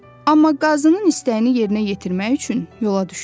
Amma qazının istəyini yerinə yetirmək üçün yola düşdü.